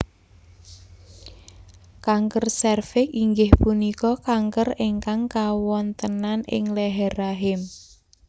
Kanker sèrviks inggih punika kanker ingkang kawontenan ing leher rahim